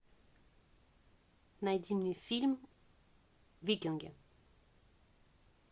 найди мне фильм викинги